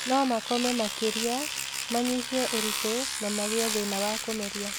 No makome makĩria, manyihie ũritũ, na magĩe thĩĩna wa kũmeria.